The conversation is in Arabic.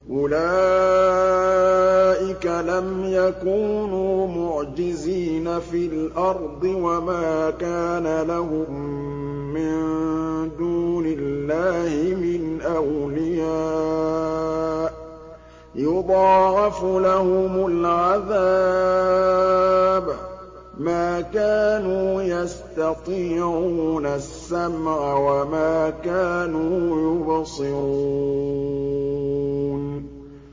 أُولَٰئِكَ لَمْ يَكُونُوا مُعْجِزِينَ فِي الْأَرْضِ وَمَا كَانَ لَهُم مِّن دُونِ اللَّهِ مِنْ أَوْلِيَاءَ ۘ يُضَاعَفُ لَهُمُ الْعَذَابُ ۚ مَا كَانُوا يَسْتَطِيعُونَ السَّمْعَ وَمَا كَانُوا يُبْصِرُونَ